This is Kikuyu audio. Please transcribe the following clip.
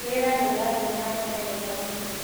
Wĩra nĩũrathiĩ na mbere wega mũno